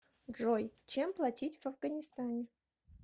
джой чем платить в афганистане